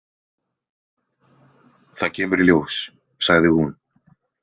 Það kemur í ljós, sagði hún.